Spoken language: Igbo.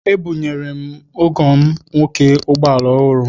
Ebunyere m ọgọ m nwoke ụgbọala ọhụrụ.